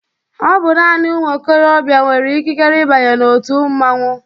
Ọbụ naanị ụmụ ikorobia nwere ikikere ịbanye na-otu mmanwụ.